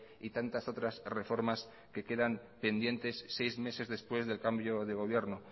y tantas otras reformas que quedan pendientes seis meses después del cambio de gobierno